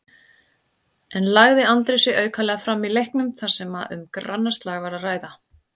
En lagði Andri sig aukalega fram í leiknum þar sem um grannaslag var að ræða?